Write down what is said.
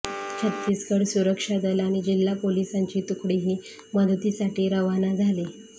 छत्तीसगड सुरक्षा दल आणि जिल्हा पोलिसांची तुकडीही मदतीसाठी रवाना झाली